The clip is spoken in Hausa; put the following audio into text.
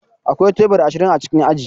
Akwai teburi ashirin a cikin aji.